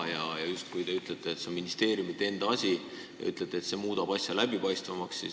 Te justkui ütlete, et see on ministeeriumide enda asi ja see muudab asja läbipaistvamaks.